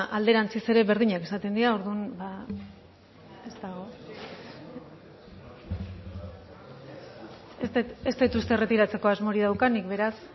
alderantziz ere berdinak izaten dira orduan ba ez dut uste erretiratzeko asmorik daukanik beraz